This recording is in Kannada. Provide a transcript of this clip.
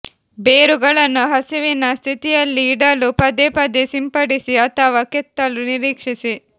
ಬೇರುಗಳನ್ನು ಹಸಿವಿನ ಸ್ಥಿತಿಯಲ್ಲಿ ಇಡಲು ಪದೇ ಪದೇ ಸಿಂಪಡಿಸಿ ಅಥವಾ ಕೆತ್ತಲು ನಿರೀಕ್ಷಿಸಿ